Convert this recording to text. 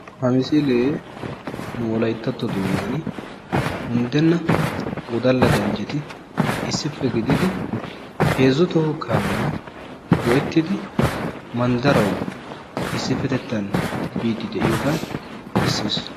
Ha misilee nu wolayttatto doonnan undenna wodalla ganjjeti issippe gididi heezzu toho kaammiyaa go"ettidi manddarawu isipetettaan biidi de'iyoogaa beesses.